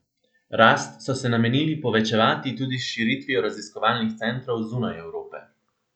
Rast so se namenili povečevati tudi s širitvijo raziskovalnih centrov zunaj Evrope.